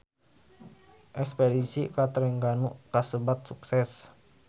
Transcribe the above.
Espedisi ka Trengganu kasebat sukses